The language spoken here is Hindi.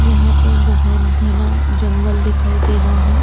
यहाँ पर बोहोत घना जंगल दिखाई दे रहा है।